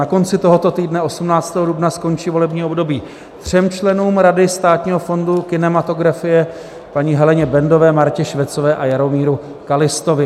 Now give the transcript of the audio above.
Na konci tohoto týdne 18. dubna skončí volební období třem členům Rady Státního fondu kinematografie: paní Heleně Bendové, Martě Švecové a Jaromíru Kallistovi.